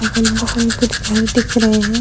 अगल बगल कुछ घर दिख रहे हैं।